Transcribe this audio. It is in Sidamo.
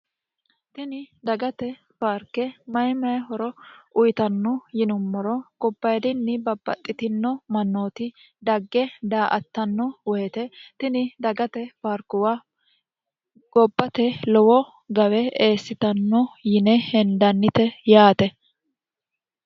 tini dagate paarke mayi mayi horo uyitanno yinummoro gobbayidinni babbaxxitino mannooti dagge daa''attanno woyite tini dagate parkuwa gobbate lowo gawe eessitanno yine hendannite yaate